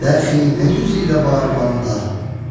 Dəxi nə üzü ilə varım onda?